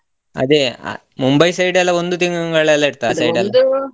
ಅದೇ Mumbai side ಎಲ್ಲ ಒಂದು ತಿಂಗಳೆಲ್ಲ .